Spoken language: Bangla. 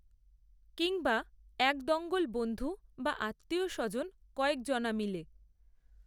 কিংবা এক দঙ্গল বন্ধু বা আত্মীয়স্বজন কয়েকজনা মিলে